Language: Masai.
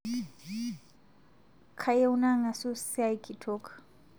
Kayieu nang'asu siai kitok